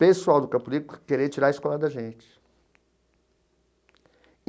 Pessoal do Campo Limpo querer tirar a escola da gente.